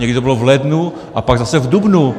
Někdy to bylo v lednu a pak zase v dubnu.